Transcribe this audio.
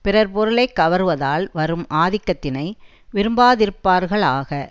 பிறர் பொருளை கவர்வதால் வரும் ஆக்கத்தினை விரும்பாதிருப்பார்களாக